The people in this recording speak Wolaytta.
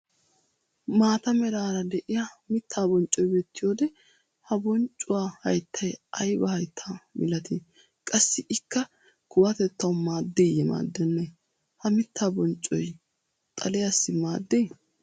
Maata meraara de'iyaa mittaa bonccoy beettiyoode ha bonccuwaa hayttay aybaa hayttaa milatii? qassi ikka kuwatettawu maaddiiye maaddenee? ha miittaa bonccoy xaliyaassi maaddii?